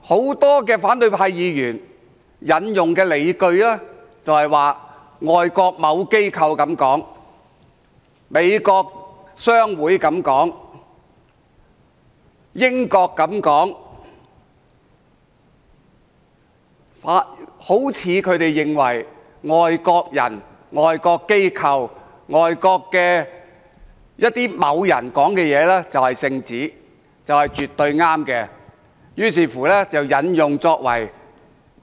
很多反對派議員引用的，就是外國某機構這樣說，美國商會這樣說，英國這樣說，好像他們認為外國人、外國機構、外國某人說的就是聖旨，就是絕對正確的，於是引用作為